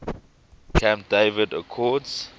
camp david accords